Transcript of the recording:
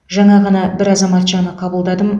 жаңа ғана бір азаматшаны қабылдадым